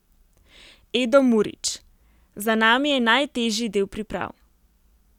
Edo Murić: 'Za nami je najtežji del priprav.